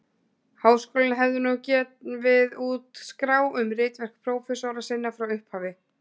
Háskólinn hefði nú gefið út skrá um ritverk prófessora sinna frá upphafi.